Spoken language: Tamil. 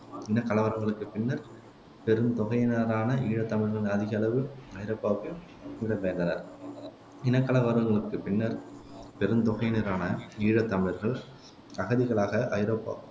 இனக்கலவரங்களுக்குப் பின்னர்த் பெருந்தொகையினரான ஈழத்தமிழர்கள் அகதிகளவு ஐரோப்பாவுக்கு இடம்பெயர்ந்தனர் இனக்கலவரங்களுக்குப் பின்னர்த் பெருந்தொகையினரான ஈழத்தமிழர்கள் அகதிகளாக ஐரோப்பா